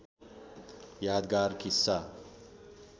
यादगार किस्सा